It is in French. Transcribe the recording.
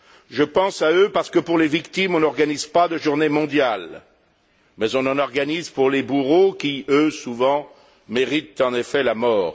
Je pense à eux parce que, pour les victimes, on n'organise pas de journée mondiale, mais on en organise pour les bourreaux qui, eux, souvent, méritent en effet la mort.